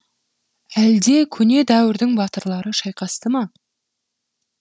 әлде көне дәуірдің батырлары шайқасты ма